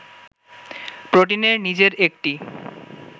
প্রোটিনের নিজের একটি